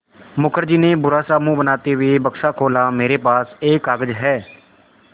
मुखर्जी ने बुरा सा मुँह बनाते हुए बक्सा खोला मेरे पास एक कागज़ है